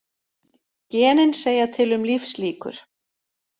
Genin segja til um lífslíkur